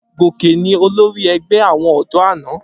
Gòkè ni olórí ẹgbẹ́ àwọn ọ̀dọ́ àná.